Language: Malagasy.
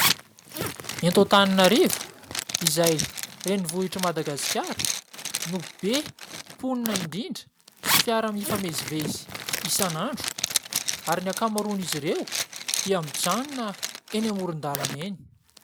Eto Antananarivo izay renivohitry Madagasikara no be mponina indrindra sy fiara mifamezivezy isanandro, ary ny ankamaroan' izy ireo dia mijanona eny amoron-dalana eny.